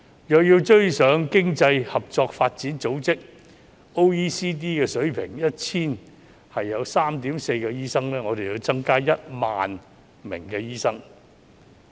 若有追上經濟合作與發展組織的水平，即每 1,000 人有 3.4 名醫生，我們便要增加 10,000 名醫生。